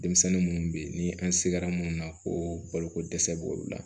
Denmisɛnnin munnu be ye ni an se kɛra munnu na ko balokodɛsɛ b'olu la